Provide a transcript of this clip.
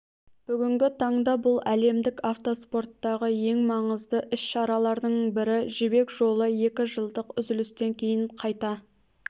бүгінгі таңда бұл әлемдік автоспорттағы ең маңызды іс-шаралардың бірі жібек жолы екі жылдық үзілістен кейін қайта